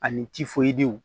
Ani